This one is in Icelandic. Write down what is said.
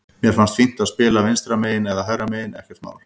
Mér finnst fínt að spila vinstra megin eða hægra megin, ekkert mál.